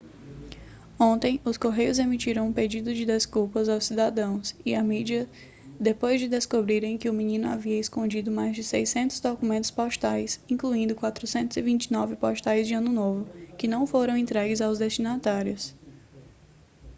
ontem os correios emitiram um pedido de desculpas aos cidadãos e à mídia depois de descobrirem que o menino havia escondido mais de 600 documentos postais incluindo 429 cartões postais de ano novo que não foram entregues aos destinatários